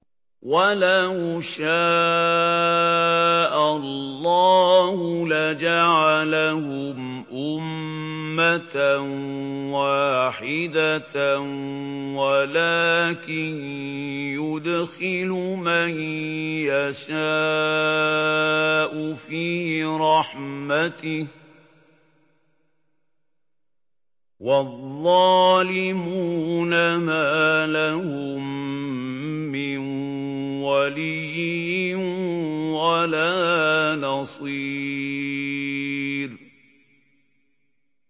وَلَوْ شَاءَ اللَّهُ لَجَعَلَهُمْ أُمَّةً وَاحِدَةً وَلَٰكِن يُدْخِلُ مَن يَشَاءُ فِي رَحْمَتِهِ ۚ وَالظَّالِمُونَ مَا لَهُم مِّن وَلِيٍّ وَلَا نَصِيرٍ